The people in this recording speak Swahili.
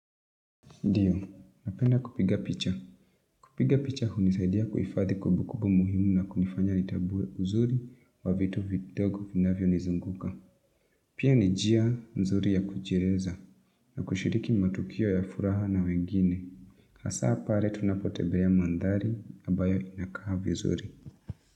Ndiyo, napenda kupiga picha. Kupiga picha hunisaidia kuhifadhi kumbukumbu muhimu na kunifanya nitambue uzuri wa vitu vidogo vinavyonizunguka. Pia ni njia nzuri ya kujieleza. Na kushiriki matukio ya furaha na wengine. Hasa pale tunapotembea mandhari, ambayo inakaa vizuri.